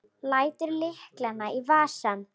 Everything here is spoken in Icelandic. Lætur lyklana í vasann.